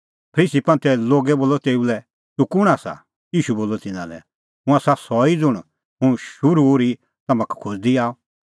फरीसी बोलअ तेऊ लै तूह कुंण आसा ईशू बोलअ तिन्नां लै हुंह आसा सह ई ज़ुंण हुंह शुरू ओर्ही तम्हां का खोज़दी आअ